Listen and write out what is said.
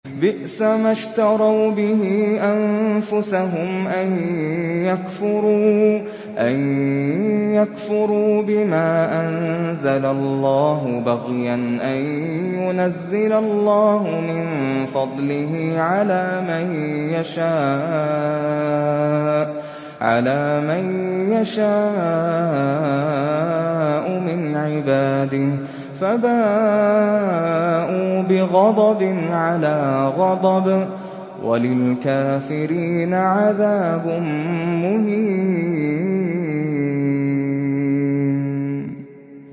بِئْسَمَا اشْتَرَوْا بِهِ أَنفُسَهُمْ أَن يَكْفُرُوا بِمَا أَنزَلَ اللَّهُ بَغْيًا أَن يُنَزِّلَ اللَّهُ مِن فَضْلِهِ عَلَىٰ مَن يَشَاءُ مِنْ عِبَادِهِ ۖ فَبَاءُوا بِغَضَبٍ عَلَىٰ غَضَبٍ ۚ وَلِلْكَافِرِينَ عَذَابٌ مُّهِينٌ